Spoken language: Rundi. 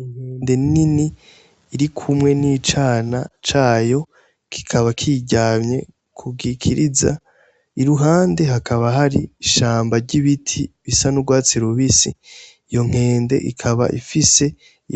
Inkende nini iri kumwe n' icana Cayo kikaba kiyiryamye kugikiriza iruhande hakaba hari ishambi ry'ibiti bisa n'urwatsi rubisi iyo nkende ikaba ifise